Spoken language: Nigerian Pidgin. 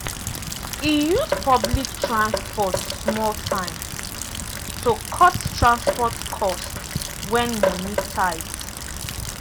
e use public transport small time to cut transport cost when money tight.